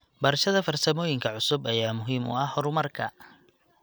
Barashada farsamooyinka cusub ayaa muhiim u ah horumarka.